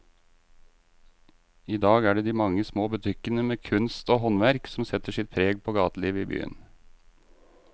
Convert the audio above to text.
I dag er det de mange små butikkene med kunst og håndverk som setter sitt preg på gatelivet i byen.